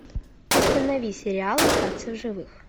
установи сериал остаться в живых